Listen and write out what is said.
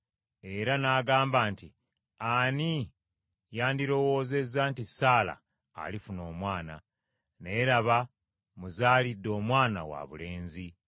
Era n’agamba nti, “Ani yandirowoozezza nti Saala alifuna omwana? Naye, laba mmuzaalidde omwana wabulenzi.”